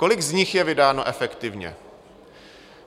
Kolik z nich je vydáno efektivně?